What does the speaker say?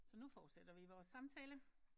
Så nu fortsætter vi vores samtale